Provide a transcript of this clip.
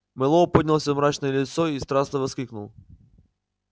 мэллоу поднял своё мрачное лицо и страстно воскликнул